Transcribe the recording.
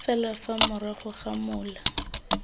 fela fa morago ga mola